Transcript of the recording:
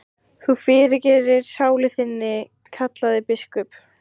Þú fyrirgerir sálu þinni, kallaði biskup.